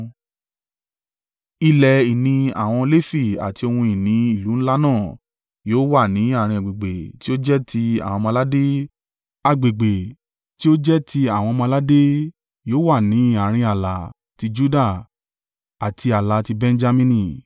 Ilẹ̀ ìní àwọn Lefi àti ohun ìní ìlú ńlá náà yóò wà ni àárín agbègbè tí ó jẹ́ ti àwọn ọmọ-aládé. Agbègbè tí ó jẹ́ ti àwọn ọmọ-aládé yóò wà ní àárín ààlà tí Juda àti ààlà tí Benjamini.